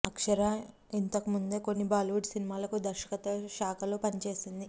అక్షర ఇంతకుముందే కొన్ని బాలీవుడ్ సినిమాలకు దర్శకత్వ శాఖలో పని చేసింది